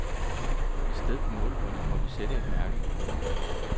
Et sted på målebåndet må vi sætte et mærke.